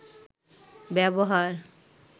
ব্যবহার